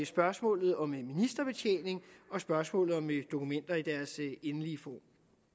spørgsmålet om ministerbetjening og spørgsmålet om dokumenter i deres endelige form